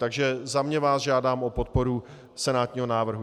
Takže za sebe vás žádám o podporu senátního návrhu.